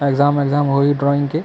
exam exam होही drawing के--